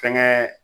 Fɛnkɛ